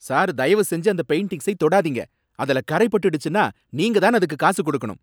Sir தயவு செஞ்சு அந்த பெயிண்டிங்ஸை தொடாதீங்க. அதுல கரை பட்டுச்சுன்னா, நீங்கதான் அதுக்கு காசு கொடுக்கணும்.